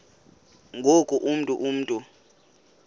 ngoku ungu mntu